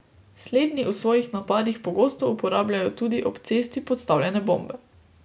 Slednji v svojih napadih pogosto uporabljajo tudi ob cesti podstavljene bombe.